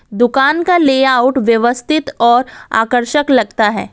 दुकान का लेआउट व्यवस्थित और आकर्षक लगता है।